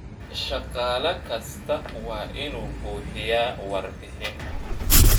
Shaqaale kasta waa inuu buuxiyaa warbixin.